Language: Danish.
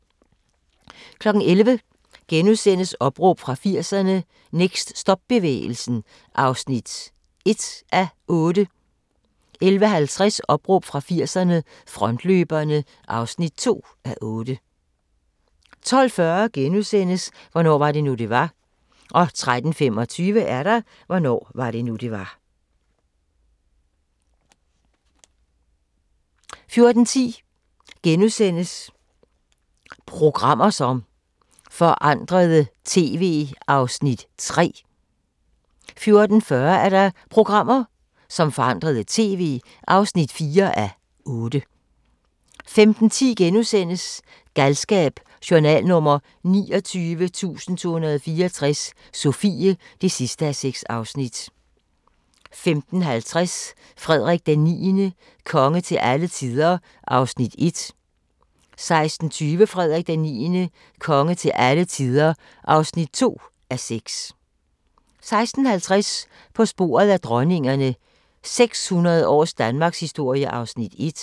11:00: Opråb fra 80'erne – Next stop-bevægelsen (1:8)* 11:50: Opråb fra 80'erne – Frontløberne (2:8) 12:40: Hvornår var det nu, det var? * 13:25: Hvornår var det nu, det var? 14:10: Programmer som forandrede TV (3:8)* 14:40: Programmer, som forandrede TV (4:8) 15:10: Galskab: Journal nr. 29.264 – Sofie (6:6)* 15:50: Frederik IX – konge til alle tider (1:6) 16:20: Frederik IX – konge til alle tider (2:6) 16:50: På sporet af dronningerne – 600 års danmarkshistorie (1:6)